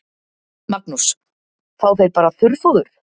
Magnús: Fá þeir bara þurrfóður?